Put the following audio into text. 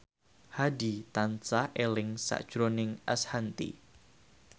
Hadi tansah eling sakjroning Ashanti